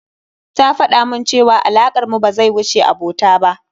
Ta faɗamun cewa alakar mu ba zai wuce abota ba.